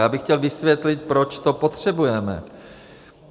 Já bych chtěl vysvětlit, proč to potřebujeme.